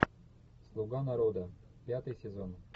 слуга народа пятый сезон